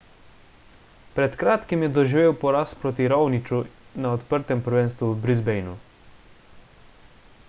pred kratkim je doživel poraz proti raoniću na odprtem prvenstvu v brisbaneu